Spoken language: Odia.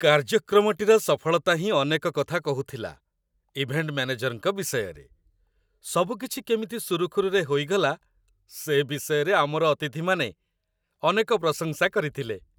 କାର୍ଯ୍ୟକ୍ରମଟିର ସଫଳତା ହିଁ ଅନେକ କଥା କହୁଥିଲା ଇଭେଣ୍ଟ ମ୍ୟାନେଜରଙ୍କ ବିଷୟରେ, ସବୁ କିଛି କେମିତି ସୁରୁଖୁରୁରେ ହୋଇଗଲା ସେ ବିଷୟରେ ଆମର ଅତିଥିମାନେ ଅନେକ ପ୍ରଶଂସା କରିଥିଲେ।